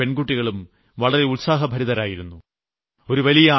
ആൺകുട്ടികളും പെൺകുട്ടികളും വളരെ ഉത്സാഹഭരിതരായിരുന്നു